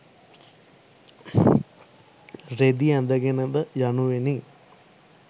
රෙදි ඇඳ ගෙනද යනුවෙනි.